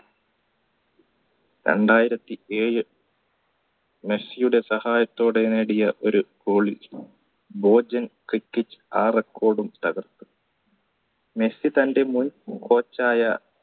രണ്ടായിരത്തി ഏഴ് മെസ്സിയുടെ സഹായത്തോടെ നേടിയ ഒരു goal ഭോജൻ ക്രിക്കറ്റ് ആ record ഉം തകർത്തു മെസ്സി തൻറെ മുൻ coach ആയ